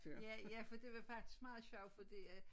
Ja ja for det var faktisk meget sjovt fordi at